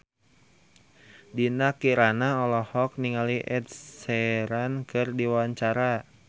Dinda Kirana olohok ningali Ed Sheeran keur diwawancara